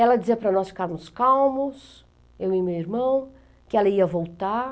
Ela dizia para nós ficarmos calmos, eu e meu irmão, que ela ia voltar.